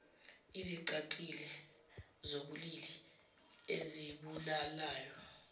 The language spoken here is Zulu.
ezicacile zobulili ezibulalayo